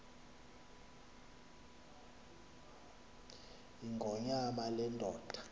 yingonyama le ndoda